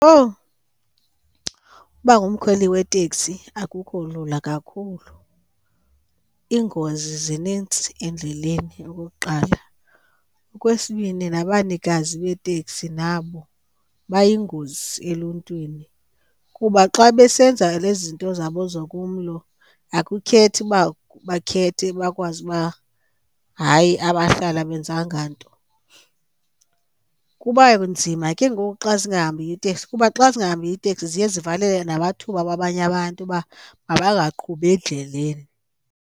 Owu uba ngumkhweli weteksi akukho lula kakhulu, iingozi zinintsi endleleni okokuqala. Okwesibini, nabanikazi beeteksi nabo bayingozi eluntwini kuba xa besenza lezi zinto zabo zokumlo akukhethi uba bakhethe bakwazi uba hayi abahlali abenzanga nto. Kuba nzima ke ngoku xa zingahambiyo iiteksi kuba xa zingahambiyo iiteksi ziye zivalele namathuba wabanye abantu uba mabaqhubi endleleni.